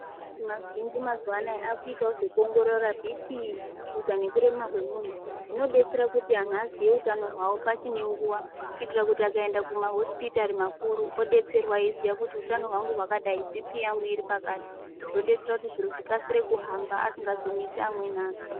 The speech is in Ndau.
Makirinika mazhinji mazuwa ano akuitawo zvekuongorora Bhii Pii shuga nekurema kwemunhu. Zvinodetsera kuti anhu aziye utano hwawo pachine nguwa kuitira kuti akaenda kumahosipitari makuru obetserwa eyiziye kuti Bhii Pii yangu iri pakati, zvobetsera kuti zviro zvikasire kuhamba asingazonetsi amweni anhu.